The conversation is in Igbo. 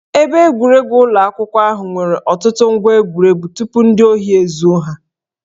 Ebe egwuregwu ụlọ akwụkwọ ahụ nwere ọtụtụ ngwá egwuregwu tupu ndị ohi ezuo ha